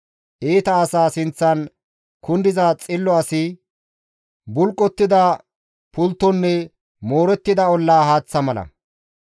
Iita asa sinththan kundiza xillo asi bulqottida pulttonne moorettida olla haaththa mala.